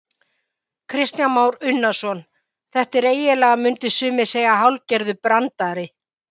Kristján Már Unnarsson: Þetta er eiginlega, myndu sumir segja hálfgerður brandari?